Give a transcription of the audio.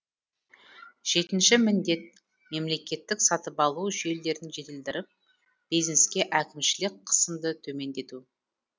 жетінші міндет мемлекеттік сатып алу жүйелерін жетілдіріп бизнеске әкімшілік қысымды төмендету